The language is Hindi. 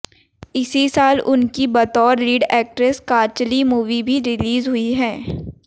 इसी साल उनकी बतौर लीड एक्ट्रेस कांचली मूवी भी रिलीज हुई